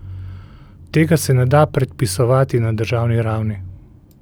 Tega se ne da predpisovati na državni ravni.